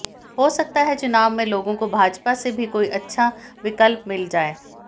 हो सकता है चुनाव में लोगों को भाजपा से भी कोई अच्छा विकल्प मिल जाए